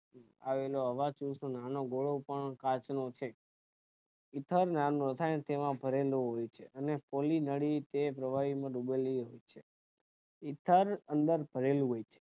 રીતે વસ્તુ નાનો ગોળો પણ કાંચ નો છે ઇથાલ નામ નો science તેમાં ભરેલો હોય છે અને પોલીનળી તે પ્રવાહી માં ડૂબેલી હોય છે ઇથાલ અંદર ભરેલું હોય છે